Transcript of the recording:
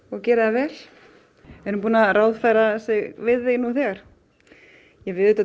og gerir það vel er hún búin að ráðfæra sig við þig nú þegar við